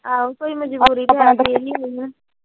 ਕੋਈ ਮਜਬੂਰੀ ਹੁੰਦੀ ਐ